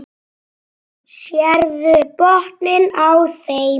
Sérðu botninn á þeim.